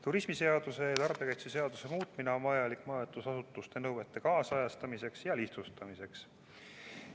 Turismiseaduse ja tarbijakaitseseaduse muutmine on vajalik majutusasutuste nõuete kaasajastamiseks ja lihtsustamiseks.